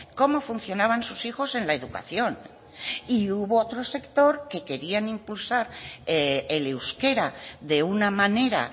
cómo funcionaban sus hijos en la educación y hubo otro sector que querían impulsar el euskera de una manera